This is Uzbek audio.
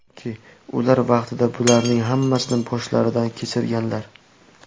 Chunki ular vaqtida bularning hammasini boshlaridan kechirganlar.